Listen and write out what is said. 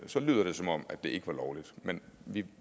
lyder det som om det ikke var lovligt men